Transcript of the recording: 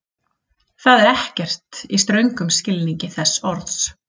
Það er ekkert, í ströngum skilningi þess orðs.